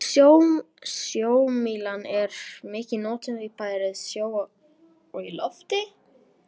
Sjómílan er mikið notuð, bæði á sjó og í lofti.